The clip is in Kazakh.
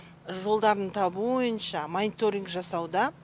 жолдарын табу бойынша мониторинг жасауда